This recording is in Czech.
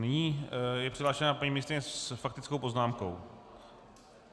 Nyní je přihlášena paní ministryně s faktickou poznámkou.